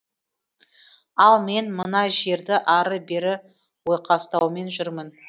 ал мен мына жерді ары бері ойқастаумен жүрмін